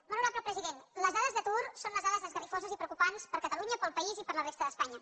molt honorable president les dades d’atur són unes dades esgarrifoses i preocupants per a catalunya per al país i per a la resta d’espanya